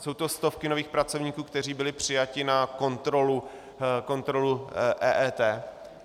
Jsou to stovky nových pracovníků, kteří byli přijati na kontrolu EET.